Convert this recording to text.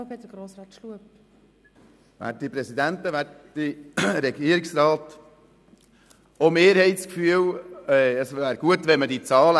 Auch wir haben das Gefühl, es gut wäre, man hätte die Zahlen.